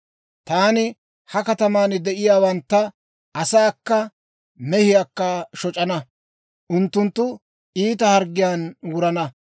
Taani ha kataman de'iyaawantta, asaakka mehiyaakka shoc'ana. Unttunttu iita harggiyaan wurana.